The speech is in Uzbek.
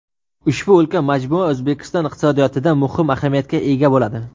Ushbu ulkan majmua O‘zbekiston iqtisodiyotida muhim ahamiyatga ega bo‘ladi.